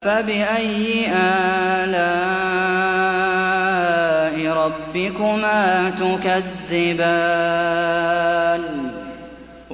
فَبِأَيِّ آلَاءِ رَبِّكُمَا تُكَذِّبَانِ